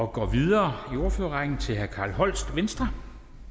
og går videre i ordførerrækken til herre carl holst venstre